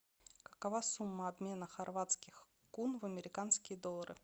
какова сумма обмена хорватских кун в американские доллары